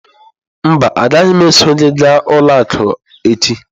Mba, agaghị m eso gị gaa ụlọ akụ echi.